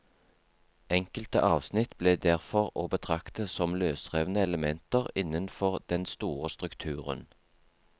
Enkelte avsnitt ble derfor å betrakte som løsrevne elementer innenfor den store strukturen.